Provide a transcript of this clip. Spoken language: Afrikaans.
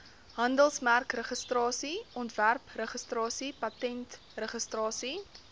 handelsmerkregistrasie ontwerpregistrasie patentregistrasie